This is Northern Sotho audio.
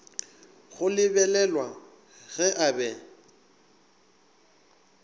go lebelelwa ge a be